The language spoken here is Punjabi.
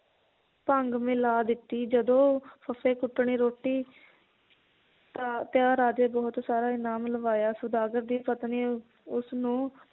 ਭੰਗ ਮਿਲਾ ਦਿੱਤੀ ਜਦੋ ਫੱਫੇ ਕੁੱਟਣੀ ਰੋਟੀ ਰਾਜੇ ਬਹੁਤ ਸਾਰਾ ਇਨਾਮ ਲਵਾਇਆ ਸੌਦਾਗਰ ਦੀ ਪਤਨੀ ਉਸਨੂੰ